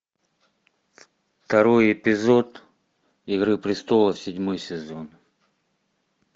второй эпизод игры престолов седьмой сезон